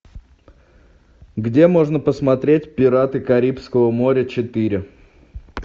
где можно посмотреть пираты карибского моря четыре